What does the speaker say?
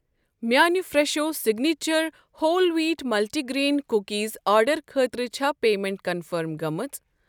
میانہِ Fresho signature whole wheat multi grain cookies آرڈرٕ خٲطرٕ چھا پیمٮ۪نٹ کنفٔرم گٔمٕژ؟